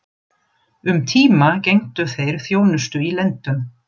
Um tíma gegndu þeir þjónustu í lendum